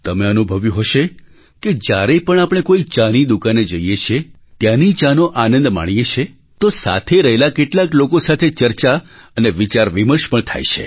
તમે અનુભવ્યું હશે કે જ્યારે પણ આપણે કોઈ ચાની દુકાને જઈએ છીએ ત્યાંની ચાનો આનંદ માણીએ છીએ તો સાથે રહેલા કેટલાક લોકો સાથે ચર્ચા અને વિચારવિમર્શ પણ થાય છે